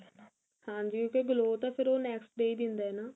ਹਾਂਜੀ ਉਹ ਤਾਂ glow ਤਾਂ ਫੇਰ ਉਹ next day ਹੀ ਦਿੰਦਾ ਨਾ